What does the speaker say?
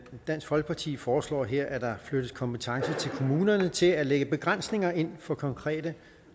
dansk folkeparti foreslår her at der flyttes kompetence til kommunerne til at lægge begrænsninger ind for konkrete